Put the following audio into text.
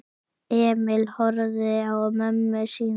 Emil horfði á mömmu sína.